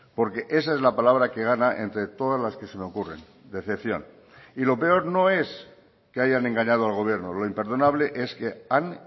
porque esa es la palabra que gana entre todas las que se me ocurren decepción y lo peor no es que hayan engañado al gobierno lo imperdonable es que han